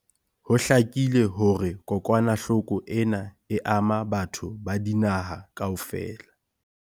Ho hlakile hore kokwanahloko ena e ama batho ba dinaha kaofela.